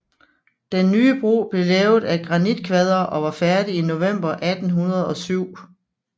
Den nye bro blev lavet af granitkvadre og var færdig i november 1807